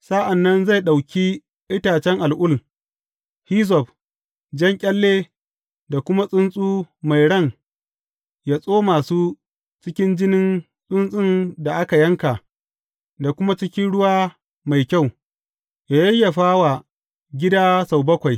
Sa’an nan zai ɗauki itacen al’ul, hizzob, jan ƙyalle da kuma tsuntsu mai ran ya tsoma su cikin jinin tsuntsun da aka yanka da kuma cikin ruwa mai kyau, ya yayyafa wa gida sau bakwai.